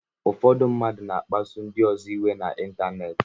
Ụfọdụ mmadụ na-akpasu ndị ọzọ iwe na ịntanetị